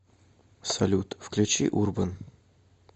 салют включи урбан